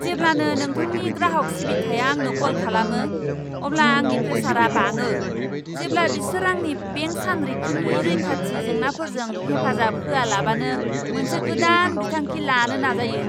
जेब्लानो नोंथांनि ग्राहक सिबिथाया आंनो कल खालामो, अब्ला आंनि प्रेसारआ बाङो जेब्ला बिसोर आंनि बेंक सानरिखिनि रैखाथि जेंनाफोरजों हेफाजाब होआलाबानो मोनसे गोदान बिथांखि लानो नाजायो।